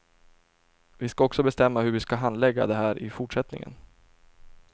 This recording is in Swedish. Vi ska också bestämma hur vi ska handlägga det här i fortsättningen.